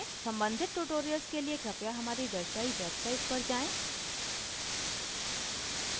सम्बंधित tutorials के लिए कृपया हमारी दर्शायी website पर जाएँ: